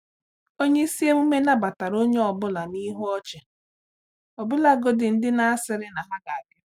Onye isi emume nabatara onye ọ bụla na ihu ọchị, ọbụlagodi ndị na-asịrị na ha ga bia..